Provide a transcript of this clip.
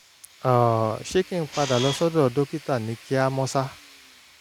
um ṣé kí n padà lọ sọ́dọ̀ dókítà ní kíá mọ́sá?